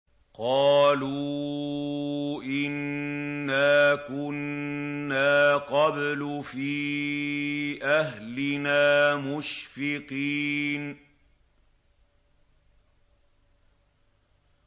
قَالُوا إِنَّا كُنَّا قَبْلُ فِي أَهْلِنَا مُشْفِقِينَ